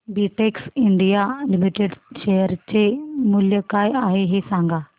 Betex India limited share चे मूल्य काय आहे हे सांगा